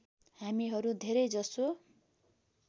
हामीहरू धेरै जसो